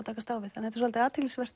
takast á við þetta er svolítið athyglisverður